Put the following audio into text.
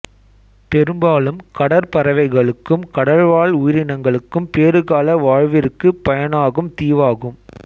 பெரும்பாலும் கடற்பறவைகளுக்கும் கடல்வாழ் உயிரினங்களுக்கும் பேறுகால வாழ்விற்கு பயனாகும் தீவாகும்